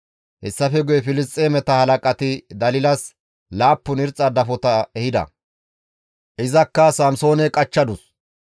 Hessafe guye Filisxeemeta halaqati Dalilas laappun irxxa dafota ehida; izankka Samsoone qachchadus.